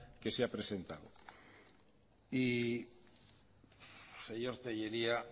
que se ha presentado y señor tellería